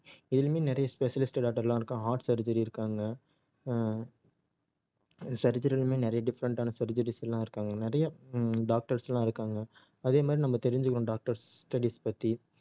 இதுலயுமே நிறைய specialist doctor லாம் இருக்காங்க heart surgery இருக்காங்க ஆஹ் surgery யிலுமே நிறைய different ஆன surgeries லாம் இருக்காங்க நிறைய ஹம் doctors லாம் இருக்காங்க அதே மாதிரி நம்ம தெரிஞ்சுக்கணும் doctors studies பத்தி